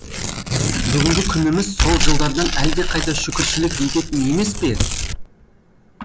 бүгінгі күніміз сол жылдардан әлдеқайда шүкіршілік ететін емес пе